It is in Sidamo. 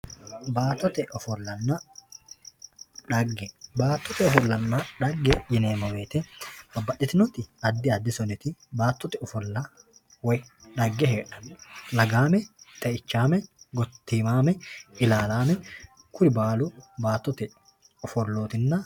baattote ofollanna dhagge, baattote ofollanna dhagge yineemmo woyte babbaxxitinoti addi addi soniti baattote ofollanna dhagge heedhanno lagaame, xeichaame, gotiimaame, ilaalaame kuni baalu baattote ofollooti.